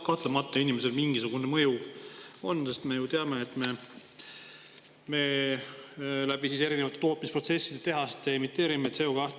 Kahtlemata on inimesel mingisugune mõju, sest me ju teame, et tehaste ja erinevate tootmisprotsesside kaudu me emiteerime CO2.